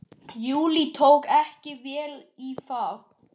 Júlía tók ekki vel í það.